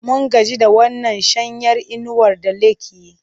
Mun gaji da wannan shanyar inuwar da like yi.